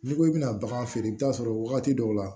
N'i ko i bɛna bagan feere i bɛ taa sɔrɔ wagati dɔw la